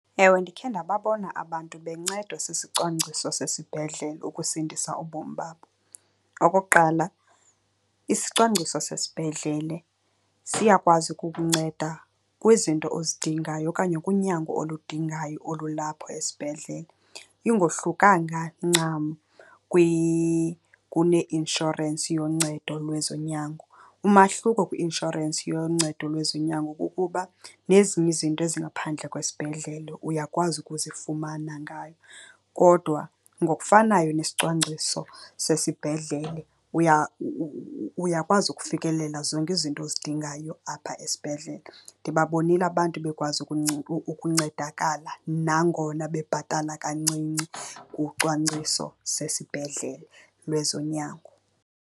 Ewe, ndikhe ndababona abantu bencedwa sisicwangciso sesibhedlele ukusindisa ubomi babo. Okokuqala isicwangciso sesibhedlele siyakwazi ukukunceda kwizinto ozidingayo okanye kunyango oludingayo olulapho esibhedlele. Ingohlukanga ncam kuneinshorensi yoncedo lwezonyango. Umahluko kwi-inshorensi yoncedo lwezonyango kukuba nezinye izinto ezingaphandle kwesibhedlele uyakwazi ukuzifumana ngayo, kodwa ngokufanayo nesicwangciso sesibhedlele uyakwazi ukufikelela zonke izinto ozidingayo apha esibhedlele. Ndibabonile abantu bekwazi ukuncedakala nangona bebhatala kancinci kucwangciso sesibhedlele lwezonyango.